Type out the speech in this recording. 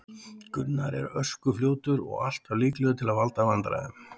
Gunnar er ösku fljótur og alltaf líklegur til að valda vandræðum.